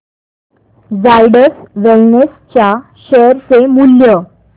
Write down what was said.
Zydus wellness च्या share चे मूल्य